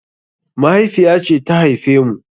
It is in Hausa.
Mahaifiya ce ta haife mu.